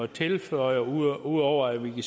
tilføje ud over at vi